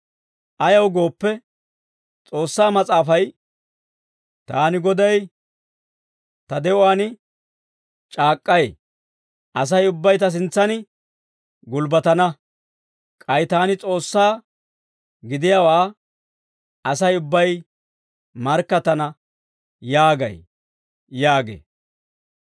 Ayaw gooppe, S'oossaa Mas'aafay, « ‹Taani Goday ta de'uwaan c'aak'k'ay; asay ubbay ta sintsan gulbbatana. K'ay taani S'oossaa gidiyaawaa, asay ubbay markkattana› yaagay» yaagee.